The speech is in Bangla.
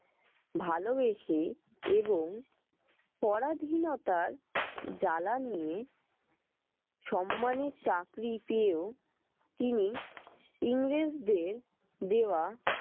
ভালোবেসে এবং পরাধীনতার জ্বালা নিয়ে সম্মানের চাকরি পেয়েও তিনি ইংরেজদের দেওয়া